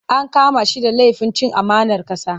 An kama shi da lafin cin amanar ƙasa.